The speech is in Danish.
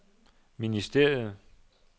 ministeriet